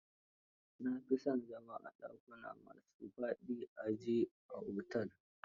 Na fi son zama a dakunan a ma su faɗa a ji a otel.